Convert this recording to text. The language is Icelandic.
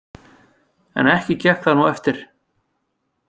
En ekki gekk það nú eftir.